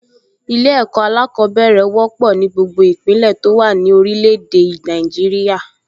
Ilé-ẹ̀kọ́ alákọ̀ọ́bẹ̀rẹ̀ wọ́pọ̀ ní gbogbo ìpínlẹ̀ tó wà ní orilẹ̀ èdè Nàìjíríà